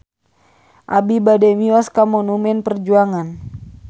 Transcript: Abi bade mios ka Monumen Perjuangan